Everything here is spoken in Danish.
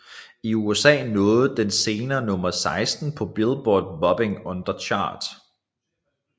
I USA nåede den senere nummer 16 på Billboard Bubbling Under Chart